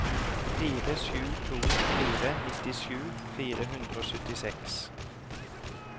fire sju to fire nittisju fire hundre og syttiseks